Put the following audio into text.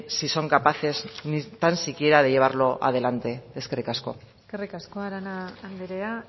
si son capaces ni tan siquiera de llevarlo adelante eskerrik asko eskerrik asko arana andrea